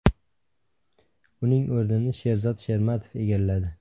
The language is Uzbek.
Uning o‘rnini Sherzod Shermatov egalladi .